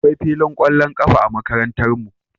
Akwai filin ƙwallon ƙafa a Makarantarmu